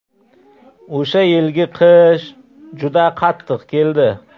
O‘sha yilgi qish juda qattiq keldi.